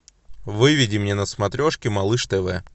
выведи мне на смотрешке малыш тв